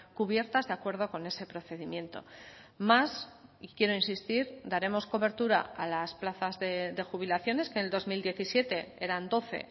cubiertas de acuerdo con ese procedimiento más y quiero insistir daremos cobertura a las plazas de jubilaciones que en el dos mil diecisiete eran doce